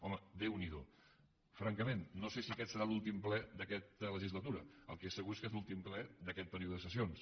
home déu n’hi do francament no sé si aquest serà l’últim ple d’aquesta legislatura el que és segur és que és l’últim ple d’aquest període de sessions